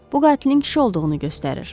Bu qatilin kişi olduğunu göstərir.